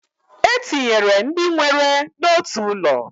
E tinyere ndị nwere n'otu ụlọ.